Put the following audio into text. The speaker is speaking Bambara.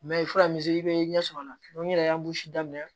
i ye fura min i bɛ ɲɛ sɔrɔ a la n yɛrɛ y'an daminɛ